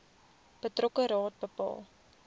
betrokke raad bepaal